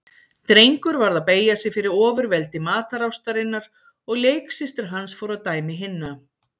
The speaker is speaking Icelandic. Drengur varð að beygja sig fyrir ofurveldi matarástarinnar og leiksystir hans fór að dæmi hinna.